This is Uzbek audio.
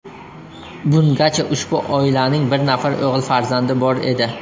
Bungacha ushbu oilaning bir nafar o‘g‘il farzandi bor edi.